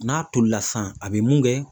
N'a tolila sisan ,a bɛ mun kɛ